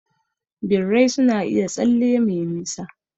Birrai suna iya tsalle me nisa.